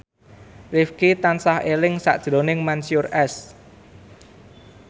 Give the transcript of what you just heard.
Rifqi tansah eling sakjroning Mansyur S